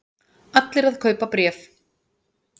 Allir að kaupa bréf